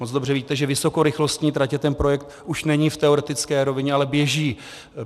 Moc dobře víte, že vysokorychlostní tratě, ten projekt už není v teoretické rovině, ale běží.